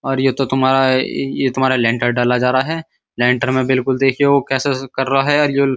और ये तो तुम्हारा ये तुम्हारा लेंटर डाला जा रहा है। लेंटर में बिल्कुल देखिये वो कैसे-कैसे कर रहा है और --